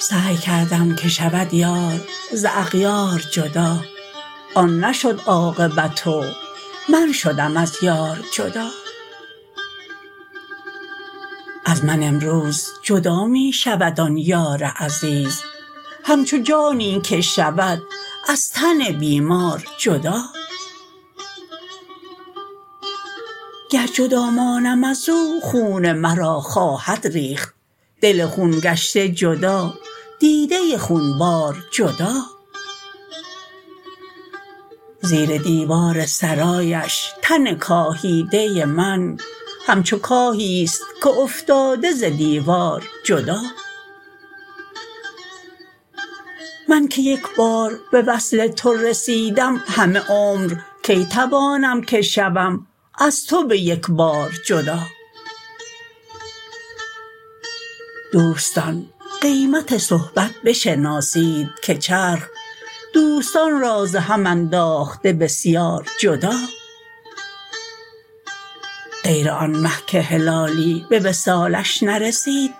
سعی کردم که شود یار ز اغیار جدا آن نشد عاقبت و من شدم از یار جدا از من امروز جدا می شود آن یار عزیز همچو جانی که شود از تن بیمار جدا گر جدا مانم از او خون مرا خواهد ریخت دل خون گشته جدا دیده خونبار جدا زیر دیوار سرایش تن کاهیده من همچو کاهیست که افتاده ز دیوار جدا من که یک بار به وصل تو رسیدم همه عمر کی توانم که شوم از تو به یک بار جدا دوستان قیمت صحبت بشناسید که چرخ دوستان را ز هم انداخته بسیار جدا غیر آن مه که هلالی به وصالش نرسید